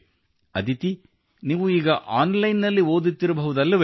ಅದಿತಿ ನೀವು ಈಗ online ನಲ್ಲಿ ಓದುತ್ತಿರಬಹುದಲ್ಲವೇ